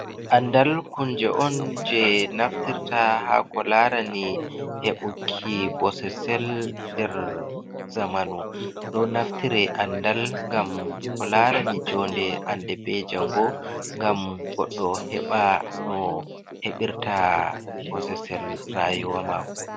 Andal kunje on je naftirta ha ko larani heɓuki bososel nder zamanu. Ɗo naftire andal ngam ko larani jonde hande be jango ngam goɗɗo heɓa no heɓirta bososel rayuwa mako.